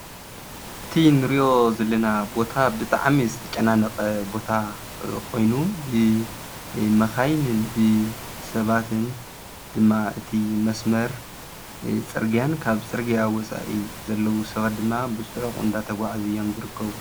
እቲ ንሪኦ ዘለና ቦታ ብጣዕሚ ዝተጨናነቐ ቦታ ኮይኑ ብመኻይንን ብሰባትን ድማ እቲ መስመር ፅርግያን ካብ ፅርግያን ወፃኢ ዘለው ሰባት ድማ ብፅዑቕ እናተጓዓዙ እዮም ዝርከቡ።